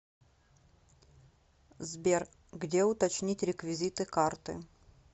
сбер где уточнить реквизиты карты